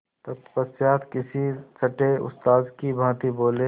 तत्पश्चात किसी छंटे उस्ताद की भांति बोले